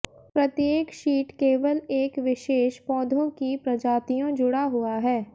प्रत्येक शीट केवल एक विशेष पौधों की प्रजातियों जुड़ा हुआ है